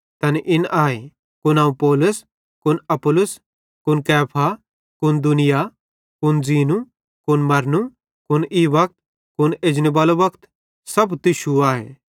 तैन इन आए कुन अवं पौलुस कुन अपुल्लोस कुन कैफा कुन दुनिया कुन ज़ीनू कुन मरनू कुन ई वक्त कुन एजनेबालो वक्त सब किछ तुश्शूए